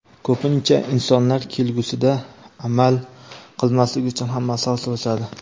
Ko‘pincha insonlar kelgusida amal qilmaslik uchun ham maslahat so‘rashadi.